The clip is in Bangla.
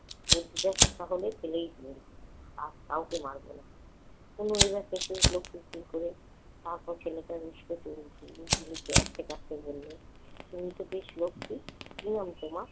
গুলতিটা তাহলে ফেলেই দিলাম। আর কাউকে মারব এ না। তনু এবার হেসে উঠল হু হু করে। তারপর ছেলেটা বলল, তুমি তো বেশ লক্ষ্মী। কি নাম তোমার?